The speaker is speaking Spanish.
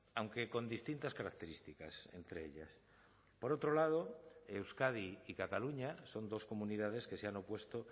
aunque con distintas características entre ellas por otro lado euskadi y cataluña son dos comunidades que se han opuesto